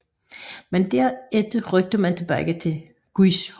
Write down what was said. Men derefter rykkede man tilbage til Guizhou